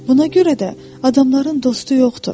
Buna görə də adamların dostu yoxdur.